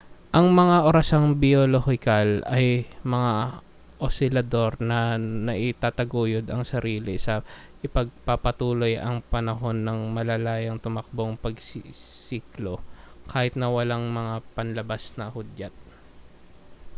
ang mga orasang biyolohikal ay mga osilador na naitataguyod ang sarili na ipagpapatuloy ang panahon ng malayang-tumatakbong pagsisiklo kahit na walang mga panlabas na hudyat